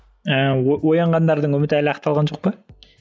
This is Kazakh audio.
ыыы оянғандардың үміті әлі ақталған жоқ па